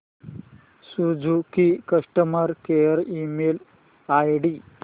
Suzuki customer care email ID